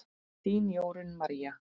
Þín, Jórunn María.